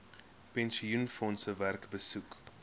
pensioenfondse werk besoek